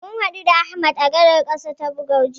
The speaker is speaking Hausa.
Mun haɗu da Ahmad a gadar ƙasa ta Kabuga jiya.